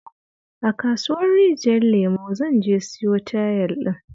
A kasuwar Rijiyar Lemo zan je siyo tayel ɗin